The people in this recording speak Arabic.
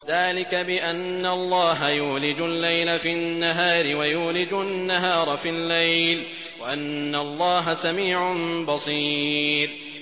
ذَٰلِكَ بِأَنَّ اللَّهَ يُولِجُ اللَّيْلَ فِي النَّهَارِ وَيُولِجُ النَّهَارَ فِي اللَّيْلِ وَأَنَّ اللَّهَ سَمِيعٌ بَصِيرٌ